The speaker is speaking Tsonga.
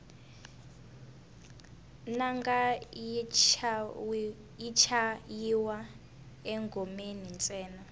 nanga yi chayiwa engomeni ntsena